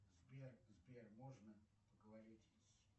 сбер сбер можно поговорить с